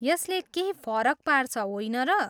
यसले केही फरक पार्छ, होइन र?